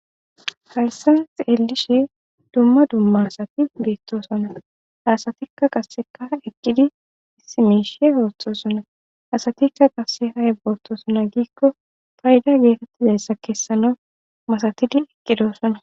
haysan xeelishe dumma dumma asati beettosonna ha asatikka qaseka eqqidi issi miishe oothosona asatikka qase ayiba otosona giikko payda geetettizayssa keessana masatidi eqqidosona